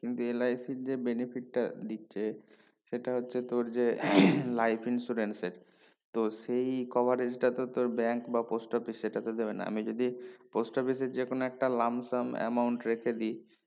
কিন্তু LIC র যে benefit টা দিচ্ছে সেইটা হচ্ছে তোর যে life insurance এর তো সেই coverage টা তোর bank বা post office সেটা তো দেবে না আমি যদি post office এ যে কোনো একটা লাম স্যাম amount রেখে দেয়